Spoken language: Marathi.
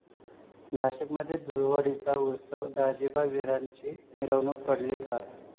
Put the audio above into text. नाशिकमध्ये धुळवडीचा उत्सव, दाजिबा विराची मिरवणूक पडली पार